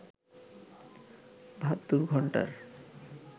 ৭২ ঘন্টার